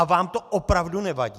A vám to opravdu nevadí?